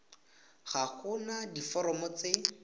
ga go na diforomo tse